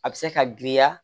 A bɛ se ka giriya